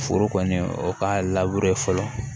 Foro kɔni o ka fɔlɔ